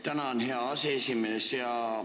Tänan, hea aseesimees!